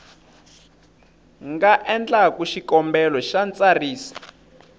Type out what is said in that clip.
nga endlaku xikombelo xa ntsariso